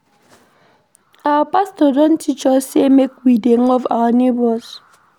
Our pastor don teach us sey make we dey love our nebors.